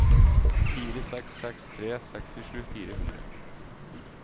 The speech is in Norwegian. fire seks seks tre sekstisju fire hundre